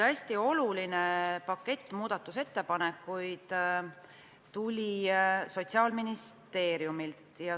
Hästi oluline pakett muudatusettepanekuid tuli Sotsiaalministeeriumilt.